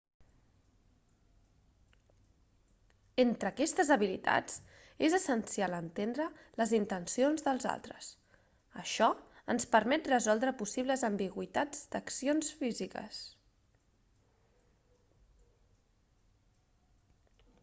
entre aquestes habilitats és essencial entendre les intencions dels altres això ens permet resoldre possibles ambigüitats d'accions físiques